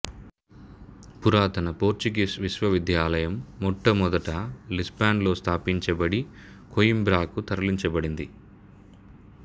పురాతన పోర్చుగీస్ విశ్వవిద్యాలయం మొట్టమొదట లిస్బన్లో స్థాపించబడి కోయింబ్రాకు తరలించబడింది